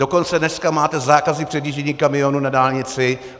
Dokonce dneska máte zákazy předjíždění kamionů na dálnici.